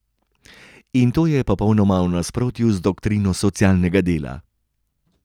In to je popolnoma v nasprotju z doktrino socialnega dela.